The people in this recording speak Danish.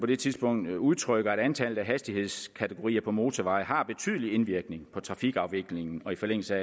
det tidspunkt udtrykker at antallet af hastighedskategorier på motorvejen har betydelig indvirkning på trafikafviklingen og i forlængelse